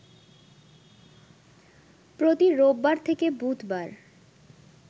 প্রতি রোববার থেকে বুধবার